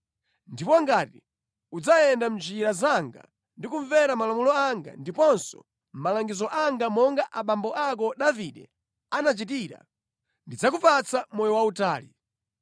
Ndipo ngati udzayenda mʼnjira zanga ndi kumvera malamulo anga ndiponso malangizo anga monga abambo ako Davide anachitira, ndidzakupatsa moyo wautali.”